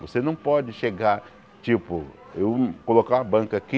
Você não pode chegar, tipo, eu colocar uma banca aqui,